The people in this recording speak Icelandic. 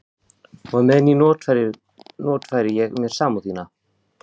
Og á meðan notfæri ég mér samúð þína.